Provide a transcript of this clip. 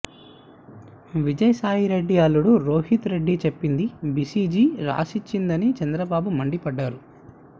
విజయసాయి రెడ్డి అల్లుడు రోహిత్ రెడ్డి చెప్పింది బీసీజీ రాసిచ్చిందని చంద్రబాబు మండిపడ్డారు